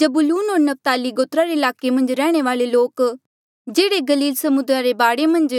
जबूलून होर नप्ताली गोत्रा रे ईलाके मन्झ रैहणे वाले लोक जेह्ड़े गलील समुद्रा रे बाढे मन्झ